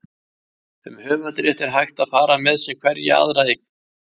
Um höfundarrétt er hægt að fara með sem hverja aðra eign.